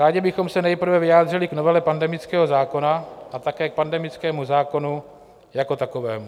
Rádi bychom se nejprve vyjádřili k novele pandemického zákona a také k pandemickému zákonu jako takovému.